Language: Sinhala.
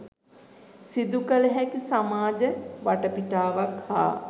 සිදුකළ හැකි සමාජ වටපිටාවක් හා